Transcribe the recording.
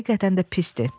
həqiqətən də pisdir.